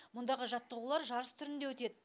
мұндағы жаттығулар жарыс түрінде өтед